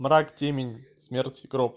мрак темень смерть и гроб